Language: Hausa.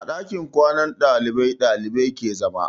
A ɗakin kwanan ɗalibai ɗalibai ke zama.